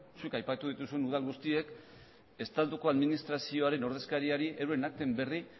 zuk aipatu dituzun udal guztiek estatuko administrazioaren ordezkariari euren akten berri